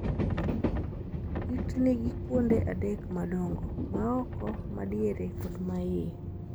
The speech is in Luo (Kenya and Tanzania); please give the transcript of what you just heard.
It nigi kuonde adek madongo: ma oko, ma diere kod ma iye.